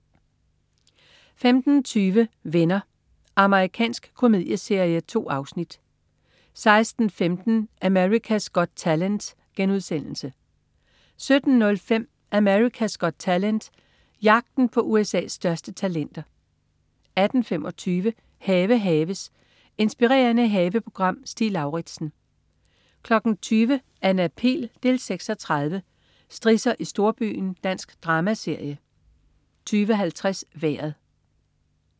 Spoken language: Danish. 15.20 Venner. Amerikansk komedieserie. 2 afsnit 16.15 America's Got Talent* 17.05 America's Got Talent. Jagten på USA's største talenter 18.25 Have haves. Inspirerende haveprogram. Stig Lauritsen 20.00 Anna Pihl 6:30. Strisser i storbyen. Dansk dramaserie 20.50 Vejret